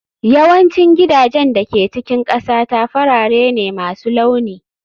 Yawancin gidajen da ke cikin ƙasata farare ne masu launi